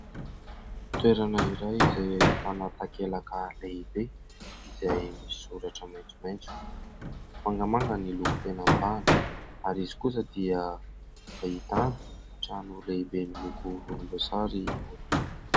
Toerana iray izay ahitana takelaka lehibe izay misoratra maitsomaitso, mangamanga ny loko tena mibahana ary izy kosa dia ahitana trano lehibe miloko volomboasary eo ampita.